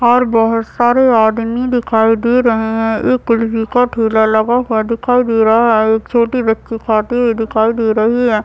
और बहुत सारे आदमी दिखाई दे रहे है एक कुल्फी का ठेला लगा हुआ दिखाई दे रहा है एक छोटी बच्ची खाती हुई दिखाई दे रही है।